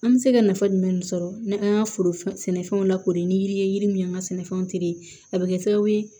An bɛ se ka nafa jumɛn sɔrɔ ni an ka foro sɛnɛfɛnw la kori ni yiri ye yiri min an ka sɛnɛfɛnw a bɛ kɛ sababu ye